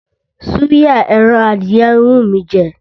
Súyà ẹran adìyẹ ń wú mí í jẹ.